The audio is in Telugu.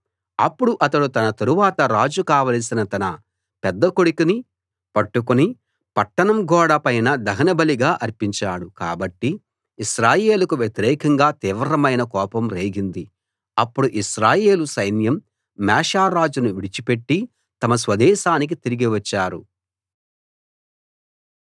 అప్పుడు అతడు తన తరువాత రాజు కావలసిన తన పెద్ద కొడుకుని పట్టుకుని పట్టణం గోడ పైన దహనబలిగా అర్పించాడు కాబట్టి ఇశ్రాయేలుకు వ్యతిరేకంగా తీవ్రమైన కోపం రేగింది అప్పుడు ఇశ్రాయేలు సైన్యం మేషా రాజును విడిచిపెట్టి తమ స్వదేశానికి తిరిగి వచ్చారు